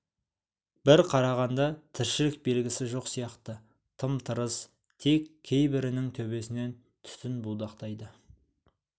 бір қарағанда тіршілік белгісі жоқ сияқты тым-тырыс тек кейбірінің төбесінен түтін будақтайды